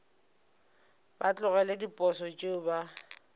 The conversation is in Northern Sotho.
ba tlogele diposo tšeo ba